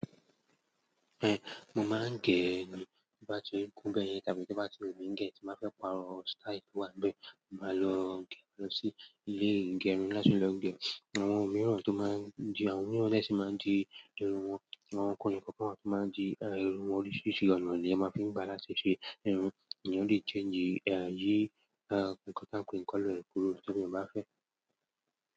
Mo máa ń gẹ e ni to bá ti kún bẹ́ẹ̀ tàbí bá ti wu mi gẹ́, tì mo bá fẹ́ pa rọ́ style to wá ni bẹ́ẹ̀, mo máa lọ gẹ lọ sí ilé igẹrun láti lọ gẹ. Àwọn mìíràn tó máa ń di, àwọn mìíràn de ṣi máa ń di irun wọn, àwọn ọkunrin kọkan wa tó máa ń di irun wọn oríṣìírí ọ̀nà ni ẹ máa fi ń bá láti ṣe ṣe irun. Ìyẹn ò le change, yii nǹkan táa ń pọ́n ìkálọ̀ ẹpurọ́ tí mo bá fẹ́